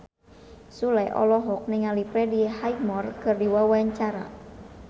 Sule olohok ningali Freddie Highmore keur diwawancara